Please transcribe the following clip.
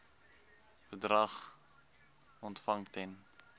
bedrag ontvang ten